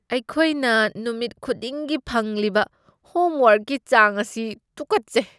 ꯑꯩꯈꯣꯏꯅ ꯅꯨꯃꯤꯠ ꯈꯨꯗꯤꯡꯒꯤ ꯐꯪꯂꯤꯕ ꯍꯣꯝ ꯋꯥꯔꯛꯀꯤ ꯆꯥꯡ ꯑꯁꯤ ꯇꯨꯀꯠꯆꯩ ꯫